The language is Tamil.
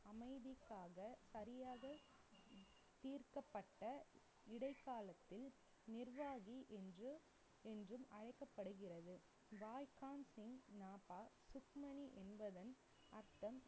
அமைதிக்காக சரியாக தீர்க்கப்பட்ட இடைக்காலத்தில் நிர்வாகி என்று~ என்றும் அழைக்கப்படுகிறது. சுக்மணி என்பதன் அர்த்தம்,